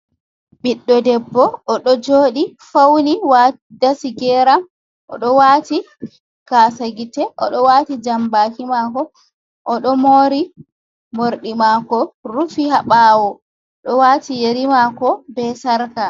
Ɓiɗdo debbo o ɗo joɗi, fauni, dasi geram. Oɗo wati gasa gite, oɗo wati jambaki mako, oɗo mori morɗi mako, rufi ha ɓawo. Oɗo wati yeri mako be sarka .